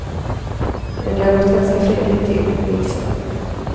Men det har gått ganska fredligt till, minns han.